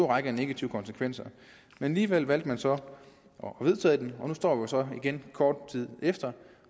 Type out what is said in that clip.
række af negative konsekvenser alligevel valgte man så at det og nu står vi så igen kort tid efter